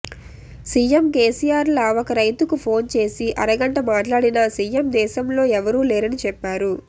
CM కేసీఆర్లా ఒక రైతుకు ఫోన్ చేసి అరగంట మాట్లాడిన సీఎం దేశంలో ఎవరూ లేరని చెప్పారు